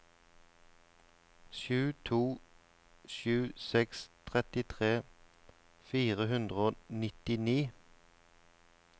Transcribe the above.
sju to sju seks trettitre fire hundre og nittini